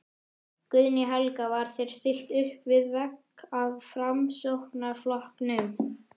Guðný Helga: Var þér stillt uppvið vegg af Framsóknarflokknum?